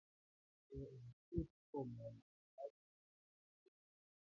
Àwọn èèyàn yóò túbọ̀ ma wẹ̀ láti ma jẹ́kí ara wọ́n mọ